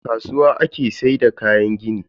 A kasuwa ake sayar da kayan gini.